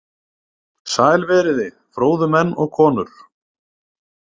Sæl verið þið, fróðu menn og konur!